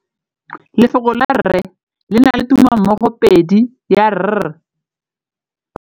Lefoko la rre, le na le tumammogôpedi ya, r.